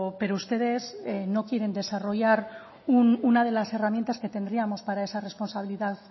pero ustedes no quieren desarrollar una de las herramientas que tendríamos para esa responsabilidad